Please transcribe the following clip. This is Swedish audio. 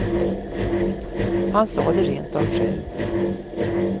Han sa det rent av själv.